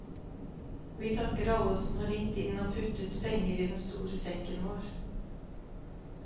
Vi takker alle som har ringt inn og puttet penger i den store sekken vår.